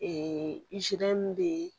Ee bee